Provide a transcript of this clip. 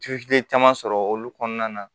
caman sɔrɔ olu kɔnɔna na